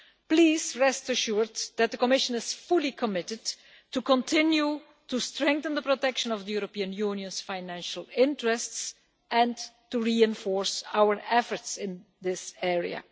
Please rest assured that the Commission is fully committed to continue to strengthen the protection of the European Union's financial interests and to reinforce our efforts in this area.